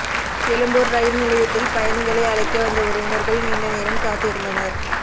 Egmore rail நிலையத்தில் பயணிகளை அழைக்க வந்த உறவினர்கள் நீண்ட நேரம் காத்து இருந்தனர்